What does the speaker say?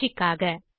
பயிற்சிக்காக